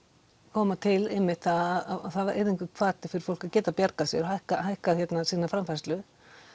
koma til einmitt það yrði einhver hvati fyrir fólk að geta bjargað sér hækkað hækkað sína framfærslu